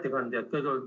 Hea ettekandja!